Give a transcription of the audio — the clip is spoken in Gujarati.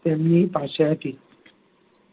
તેમની પાસે હતી